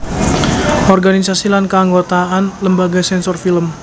Organisasi lan Keanggotaan Lembaga Sensor Film